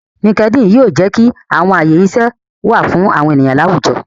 Linkedin yoo jẹ ki awọn aye iṣẹ wa fun awọn eniyan ni awujọ